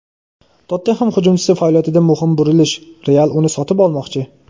"Tottenhem" hujumchisi faoliyatida muhim burilish: "Real" uni sotib olmoqchi;.